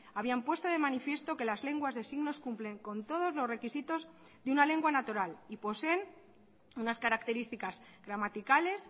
habían puesto de manifiesto que las lenguas de signos cumplen con todos los requisitos de una lengua natural y poseen unas características gramaticales